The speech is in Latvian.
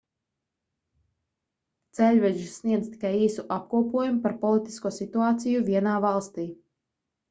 ceļveži sniedz tikai īsu apkopojumu par politisko situāciju vienā valstī